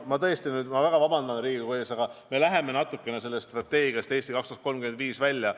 Ma tõesti väga vabandan Riigikogu ees, aga me läheme natukene sellest teemast "Eesti 2035" välja.